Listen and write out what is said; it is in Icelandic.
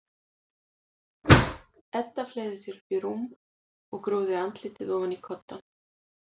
Edda fleygði sér upp í rúm og grúfði andlitið ofan í koddann.